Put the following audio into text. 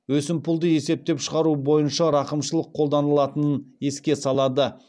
өсімпұлды есептеп шығару бойынша рақымшылық қолданылатынын еске салады